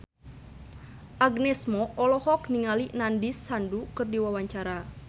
Agnes Mo olohok ningali Nandish Sandhu keur diwawancara